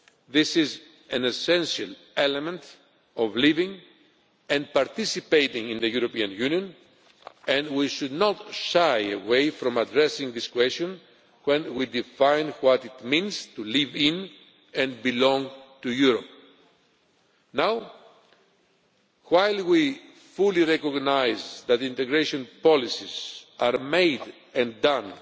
This is an essential element of living and participating in the European Union, and we should not shy away from addressing this question when we define what it means to live in and belong to Europe. Now, while we fully recognise that integration policies are made